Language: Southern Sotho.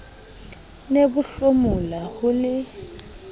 ne bo hlomola ho le